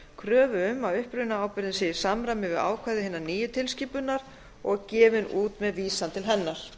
kröfu um að upprunaábyrgðin sé í samræmi við ákvæði hinnar nýju tilskipunar og gefin út með vísan til hennar